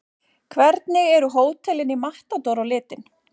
Hvernig eru hótelin í Matador á litinn?